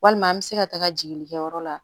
Walima an bɛ se ka taga jigili kɛ yɔrɔ la